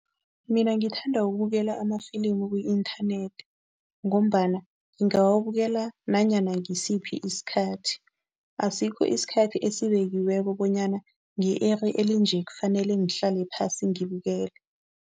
Mina ngithanda ukubukela amafilimu ku-inthanethi ngombana ngingawubukela nanyana ngisiphi isikhathi, asikho isikhathi esibekiweko bonyana nge-iri elinje kufanele ngihlale phasi ngibukele.